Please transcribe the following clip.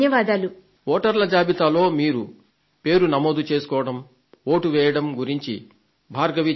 వోటర్ల జాబితాలో పేరు నమోదు చేసుకోవడం వోటు వేయడం గురించి భార్గవి చెబుతున్నారు